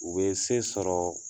U bɛ se sɔrɔ